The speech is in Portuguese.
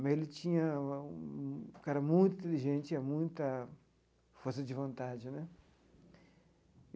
mas ele tinha um era um cara muito inteligente, tinha muita força de vontade né.